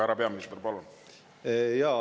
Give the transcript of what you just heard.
Härra peaminister, palun!